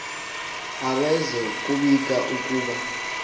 abaze kubika ukuba